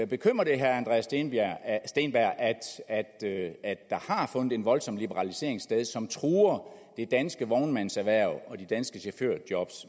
bekymrer det herre andreas steenberg at der har fundet en voldsom liberalisering sted som truer det danske vognmandserhverv og de danske chaufførjob